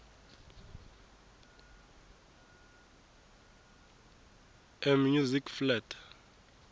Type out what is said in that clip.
e music flat